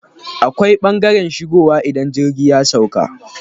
Akwai ɓangaren shigowa idan jirgi ya sauƙa.